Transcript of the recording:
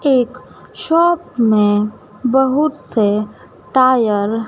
एक शॉप में बहुत से टायर --